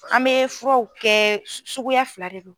An bɛ furaw kɛ su suguya fila de do.